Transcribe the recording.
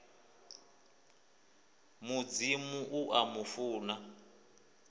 mudzimu u a mu funa